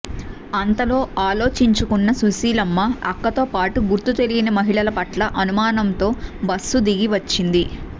అంతలో ఆలోచించుకున్న సుశీలమ్మ అక్కతోపాటు గుర్తు తెలియని మహిళల పట్ల అనుమానంతో బస్సు దిగి వచ్చింది